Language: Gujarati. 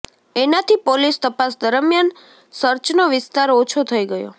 એનાથી પોલીસ તપાસ દરમિયાન સર્ચનો વિસ્તાર ઓછો થઈ ગયો